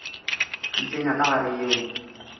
di tsenya ka gare yeo